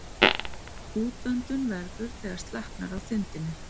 Útöndun verður þegar slaknar á þindinni.